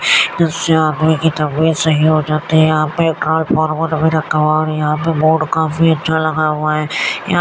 यहां पे बोर्ड काफी अच्छा लग हुआ है। यहां --